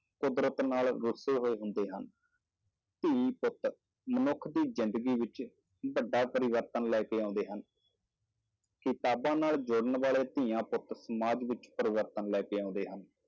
ਕੁਦਰਤ ਨਾਲ ਰੁੱਸੇ ਹੋਏ ਹੁੰਦੇ ਹਨ, ਧੀ ਪੁੱਤ ਮਨੁੱਖ ਦੀ ਜ਼ਿੰਦਗੀ ਵਿੱਚ ਵੱਡਾ ਪਰਿਵਰਤਨ ਲੈ ਕੇ ਆਉਂਦੇ ਹਨ ਕਿਤਾਬਾਂ ਨਾਲ ਜੁੜਨ ਵਾਲੇ ਧੀਆਂ ਪੁੱਤ ਸਮਾਜ ਵਿੱਚ ਪਰਿਵਰਤਨ ਲੈ ਕੇ ਆਉਂਦੇ ਹਨ